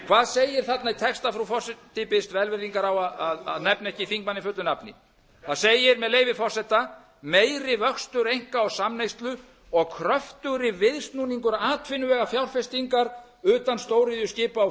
hvað segir þarna í texta frú forseti biðst velvirðingar á að nefna ekki þingmanninn fullu nafni það segir með leyfi forseta meiri vöxtur einka og samneyslu og kröftugri viðsnúningur atvinnuvega fjárfestingar utan stóriðju skipa og